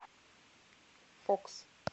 фокс